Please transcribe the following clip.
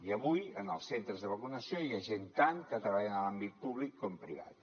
i avui en els centres de vacunació hi ha gent tant que treballa en l’àmbit públic com privat